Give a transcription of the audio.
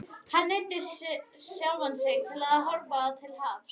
Hann neyddi sjálfan sig til að horfa til hafs.